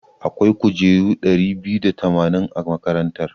Akwai kujeru ɗari biyu da tamanin a makarantar.